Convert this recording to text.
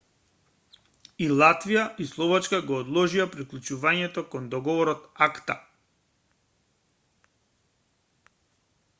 и латвија и словачка го одложија приклучувањето кон договорот акта